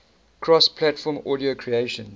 cross platform audio creation